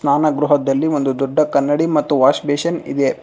ಸ್ನಾನ ಗೃಹದಲ್ಲಿ ಒಂದು ದೊಡ್ಡ ಕನ್ನಡಿ ಮತ್ತು ವಾಷ್ಬೇಷನ್ ಇದೆ.